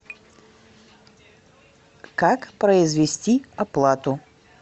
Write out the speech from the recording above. как произвести оплату